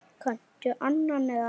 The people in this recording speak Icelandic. Kanntu annan eða?